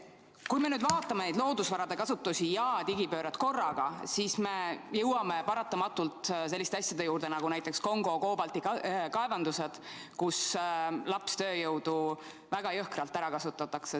Kui me nüüd vaatame loodusvarade kasutust ja digipööret korraga, siis me jõuame paratamatult selliste asjade juurde nagu Kongo koobaltikaevandused, kus lapstööjõudu väga jõhkralt ära kasutatakse.